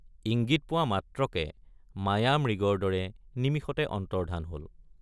ইংগিত পোৱা মাত্ৰকে মায়ামৃগৰ দৰে নিমিষতে অন্তৰ্ধান হল।